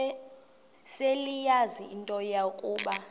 seleyazi into yokuba